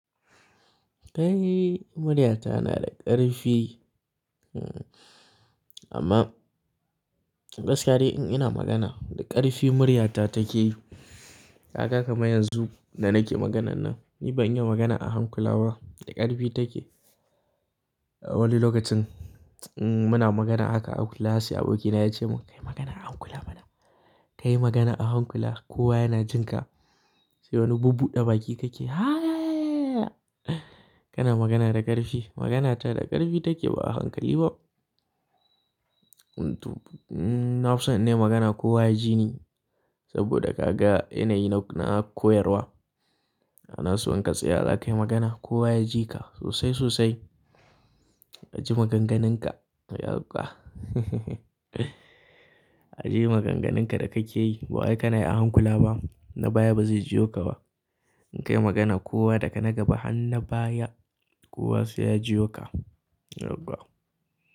Kai, muryata na da ƙarfi. Amma gaskiya in ina magana, da ƙarfi muryata take yi. Kaga kamar yanzu da nake maganan nan, ni ban yi magana a hankula ba, da ƙarfi take. Wani lokacin in muna magana haka a class, abokina ya ce mun "Kai magana a hankula, ka yi magana a hankula kowa yana jin ka." Sai wani bubbuɗa baki kake, "Ha ya ya ya." Kana magana da ƙarfi, maganata da ƙarfi take ba a hankali ba. Amto, na fi son in yi magana kowa ya ji ni saboda ka ga yanayi na koyarwa. Ana so in ka tsaya, za ka yi magana kowa ya ji ka sosai sosai. Aji maganganunka, yakwkwa haha aje maganganunka da kake yi ba wai ka na yi a hankula ba na baya ba zai ji yo ka ba. In ka yi magana kowa daga na gaba har na baya kowa sai ya ji yo ka, yakwkwa.